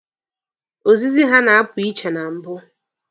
Ozizi ha na-apụ uche na mbụ.